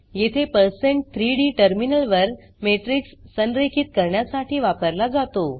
येथे पर्सेंट 3डी टर्मिनलवर मॅट्रिक्स संरेखित करण्यासाठी वापरला जातो